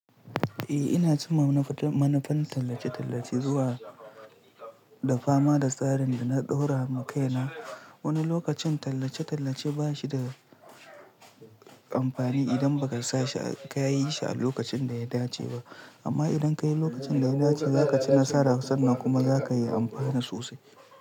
Eh ina jin manufa-manufan tallace-tallace zuwa da fama da tsarin da na ɗora wa kai na. Wani lokacin tallace-tallace ba shi da amfani idan ba ka sa shi ka yi shi a lokacin da ya dace ba. Amma idan ka yi lokacin da ya dace za ka ci nasara sannan kuma za ka yi amfana sosai.